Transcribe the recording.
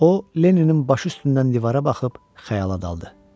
O Lenninin başı üstündən divara baxıb xəyala daldı.